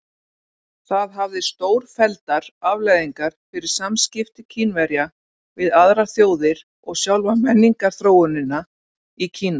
Það hafði stórfelldar afleiðingar fyrir samskipti Kínverja við aðrar þjóðir og sjálfa menningarþróunina í Kína.